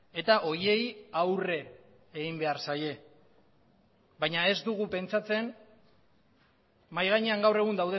eta horiei aurre egin behar zaie baina ez dugu pentsatzen mahai gainean gaur egun